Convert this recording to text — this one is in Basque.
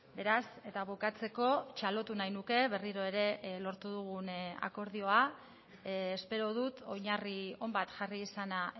beraz eta bukatzeko txalotu nahi nuke berriro ere lortu dugun akordioa espero dut oinarri on bat jarri izana